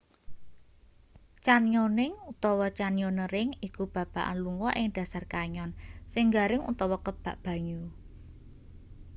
canyoning utawa: canyoneering iku babagan lunga ing dhasar canyon sing garing utawa kebak banyu